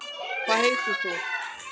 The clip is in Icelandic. hvað heitir þú